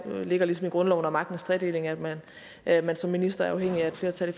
ligger ligesom i grundloven og magtens tredeling at man at man som minister er afhængig af et flertal i